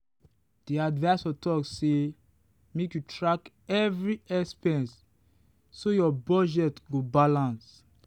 the adviser talk say make you track every expense so your budget go balance.